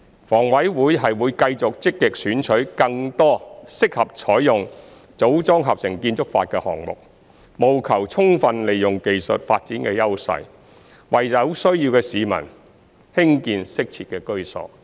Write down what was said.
房委會會繼續積極選取更多適合採用"組裝合成"建築法的項目，務求充分利用技術發展的優勢，為有需要的市民興建適切的居所。